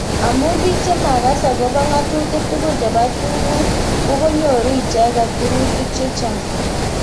amu bik chemakas akobo ngatutik tugul chebo tungwek konyoru icheket birutik chechang.